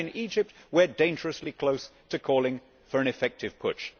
as in Egypt we are dangerously close to calling for an effective putsch.